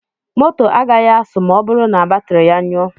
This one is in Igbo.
Moto agaghị asụ ma ọ bụrụ na batiri ya nyụọ.